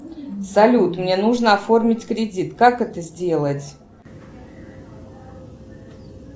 салют мне нужно оформить кредит как это сделать